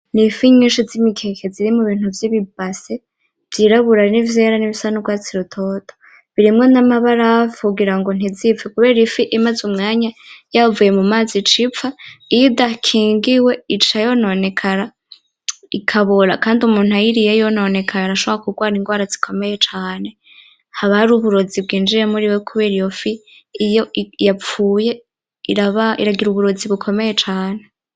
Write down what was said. N’ifi nyishi zimikeke ziri mubintu vyibi basin vyirabura nivyera n’ibisa n’urwatsi rutoto birimwo N’amabarafu kugira ngo ntizipfe kubera ifi imaze umwanya yavuye mumazi icipfa, iyo idakingiwe ica yononekara ikabora kandi umuntu ayiriye yononekaye arashobora kugwara igwara zikomeye cane haba hari uburozi bwinjiwe muriwe kubera iyofi iyo yapfuye iragira uburozi bukomeye cane.